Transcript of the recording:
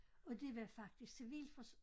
Og det var faktisk civilfors